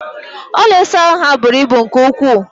Ụlọ ịsa ahụ ha bụrụ ibu nke ukwu